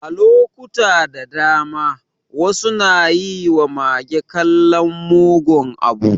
A lokuta da dama, wasu na yi ma mage kallon mugun abu.